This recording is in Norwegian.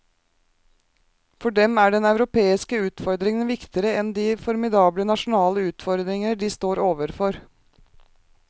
For dem er den europeiske utfordring viktigere enn de formidable nasjonale utfordringer de står overfor.